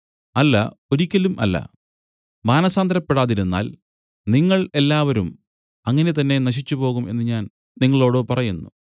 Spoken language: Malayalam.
അല്ല ഒരിയ്ക്കലും അല്ല മാനസാന്തരപ്പെടാതിരുന്നാൽ നിങ്ങൾ എല്ലാവരും അങ്ങനെ തന്നെ നശിച്ചുപോകും എന്നു ഞാൻ നിങ്ങളോടു പറയുന്നു